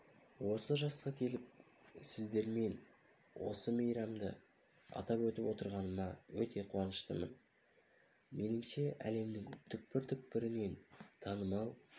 осы жасқа келіп сіздермен бірге бүгінгі мейрамды атап өтіп отырғаныма өте қуаныштымын меніңше әлемнің түкпір-түкпірінен танымал